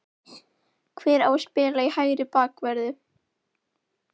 Hver á að spila í hægri bakverði?